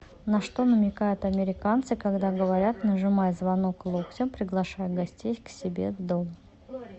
на что намекают американцы когда говорят нажимай звонок локтем приглашая гостей к себе в дом